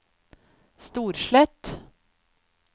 Storslett